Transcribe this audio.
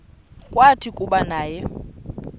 kwathi kuba naye